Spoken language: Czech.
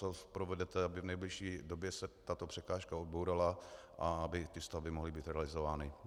Co provedete, aby v nejbližší době se tato překážka odbourala a aby ty stavby mohly být realizovány?